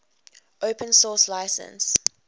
open source license